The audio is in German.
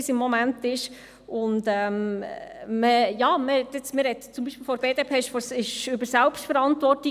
Man spricht zum Beispiel vonseiten der BDP von Selbstverantwortung.